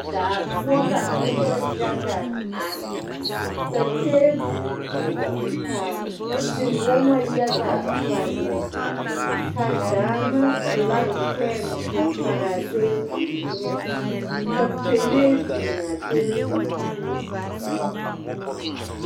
Daa poɔ ka noba yaga are ka tebol biŋ ka tewɔma yaga pare o zu ka Gaana filaki pɛne a pare a tebol eŋɛ ka pɛlee biŋ a tebol pulliŋ.